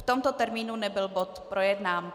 V tomto termínu nebyl bod projednán.